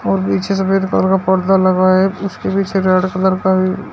और पीछे सफेद कलर का पर्दा लगा है उसके पीछे रेड कलर का भी --